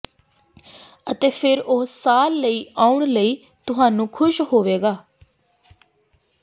ਅਤੇ ਫਿਰ ਉਹ ਸਾਲ ਲਈ ਆਉਣ ਲਈ ਤੁਹਾਨੂੰ ਖ਼ੁਸ਼ ਹੋਵੇਗਾ